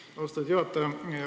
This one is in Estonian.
Aitäh, austatud juhataja!